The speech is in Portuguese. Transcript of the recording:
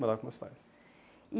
Morava com meus pais. E